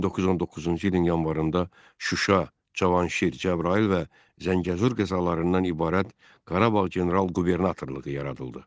1919-cu ilin yanvarında Şuşa, Cavanşir, Cəbrayıl və Zəngəzur qəzalarından ibarət Qarabağ general qubernatorluğu yaradıldı.